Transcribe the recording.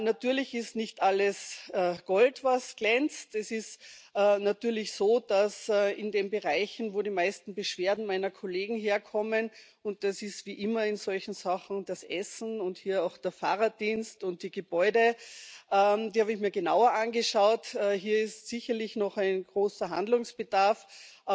Natürlich ist nicht alles Gold, was glänzt. Es ist natürlich so, dass in den Bereichen, wo die meisten Beschwerden meiner Kollegen herkommen das ist, wie immer in solchen Sachen, das Essen und hier auch der Fahrdienst und die Gebäude, die habe ich mir genauer angeschaut sicherlich noch großer Handlungsbedarf besteht.